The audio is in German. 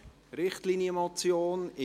! Richtlinienmotion».